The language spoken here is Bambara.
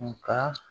Nka